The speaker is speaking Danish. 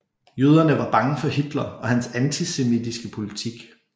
Jøderne var bange for Hitler og hans antisemitiske politik